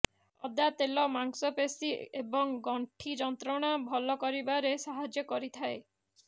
ଅଦା ତେଲ ମାଂସପେଶୀ ଏବଂ ଗଣ୍ଠି ଯନ୍ତ୍ରଣା ଭଲ କରିବାରେ ସାହାଯ୍ୟ କରିଥାଏ